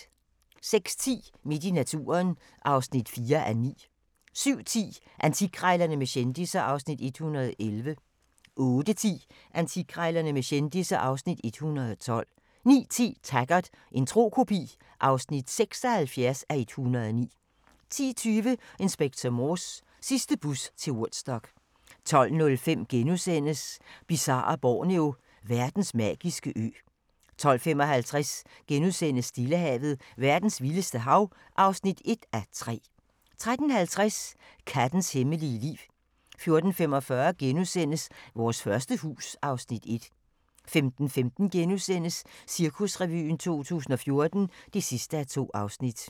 06:10: Midt i naturen (4:9) 07:10: Antikkrejlerne med kendisser (Afs. 111) 08:10: Antikkrejlerne med kendisser (Afs. 112) 09:10: Taggart: En tro kopi (76:109) 10:20: Inspector Morse: Sidste bus til Woodstock 12:05: Bizarre Borneo: Verdens magiske ø * 12:55: Stillehavet – verdens vildeste hav (1:3)* 13:50: Kattens hemmelige liv 14:45: Vores første hus (Afs. 1)* 15:15: Cirkusrevyen 2014 (2:2)*